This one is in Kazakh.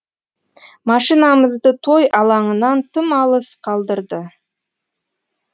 машинамызды той алаңынан тым алыс қалдырды